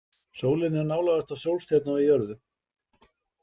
Sólin er nálægasta sólstjarna við jörðu.